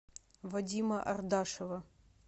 вадима ардашева